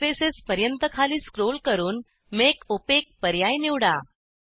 surfaces पर्यंत खाली scroll करून मेक ओपेक पर्याय निवडा